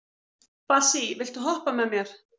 Bassí, viltu hoppa með mér?